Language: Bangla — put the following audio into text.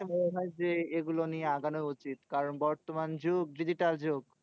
মনে হয় যে, এগুলো নিয়ে আগানো উচিত। কারণ বর্তমান যুগ digital যুগ।